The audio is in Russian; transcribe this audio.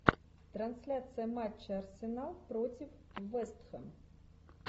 трансляция матча арсенал против вест хэм